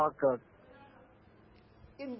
ഓ K okay എന്തു